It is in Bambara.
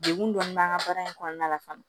Degun dɔɔni b'an ka baara in kɔnɔna la fana